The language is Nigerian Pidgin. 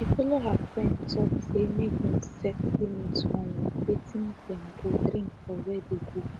she follow her friend talk say make them set limit on watin dem go drink for where dey go